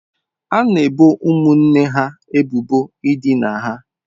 A na-ebo ụmụnne ha ebubo idina ha.